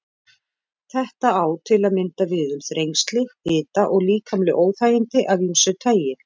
Þetta á til að mynda við um þrengsli, hita og líkamleg óþægindi af ýmsu tagi.